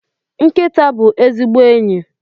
Nkịta bụ ezigbo enyi